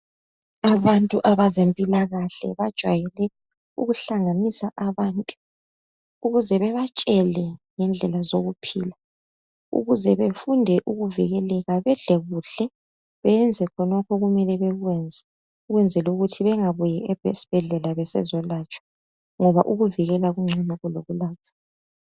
Abantu bezempilakahle bajwayele ukuhlanganisa abantu ukuze bebatshele ngendlela zokuphila ukuze befunde ukuvikeleka bedle kuhle beyenze khonokho okumele bekwenze ukwenzela ukuthi bengabuyeli esibhedlela besizolatshwa ngoba ukuvikela kungcono kulokulatshwa.